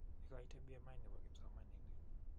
Ekoitee BMI nebo kipsomaninik